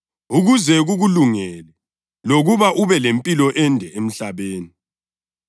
“ukuze kukulungele lokuba ube lempilo ende emhlabeni.” + 6.3 UDutheronomi 5.16